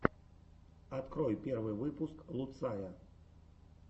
открой первый выпуск луцая